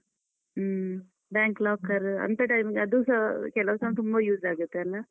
ಹ್ಮ bank locker , ಅಂಥ time ಅದೂ ಸ ಕೆಲ್ವ್ time ತುಂಬಾ use ಆಗುತ್ತೆ ಅಲ್ಲ?